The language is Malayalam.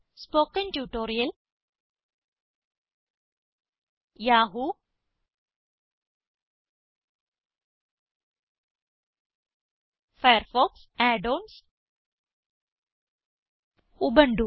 spoken tutorial Yahoo Firefox add ons Ubuntu